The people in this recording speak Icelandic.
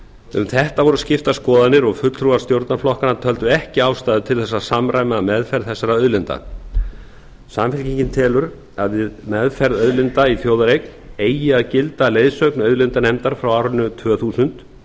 um þetta voru skiptar skoðanir og fulltrúar stjórnarflokkanna töldu ekki ástæðu til þess að samræma meðferð þessara auðlinda samfylkingin telur að við meðferð auðlinda í þjóðareign eigi að gilda leiðsögn auðlindanefndar frá árinu tvö þúsund